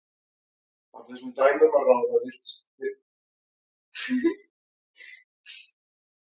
Af þessum dæmum að ráða virðist það hafa verið tíska að setja gras í skóna.